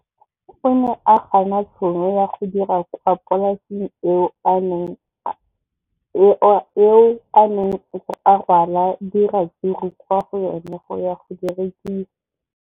O ne a gana tšhono ya go dira kwa polaseng eo a neng rwala diratsuru kwa go yona go di rekisa.